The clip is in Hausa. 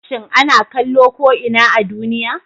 shin ana kallo ko ina a duniya?